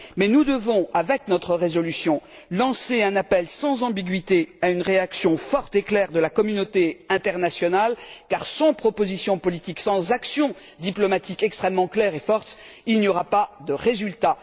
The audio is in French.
Nous devons, avec notre résolution, lancer un appel sans ambiguïté à une réaction forte et claire de la communauté internationale car, sans proposition politique, sans action diplomatique extrêmement claire et forte, nous n'obtiendrons pas de résultat.